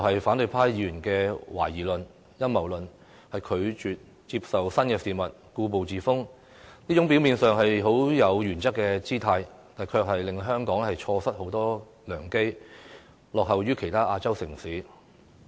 反對派議員的懷疑態度和提出陰謀論，拒絕接受新事物，固步自封，這種表面上有原則的姿態，卻會令香港錯失很多良機，以致落後於其他亞洲城市。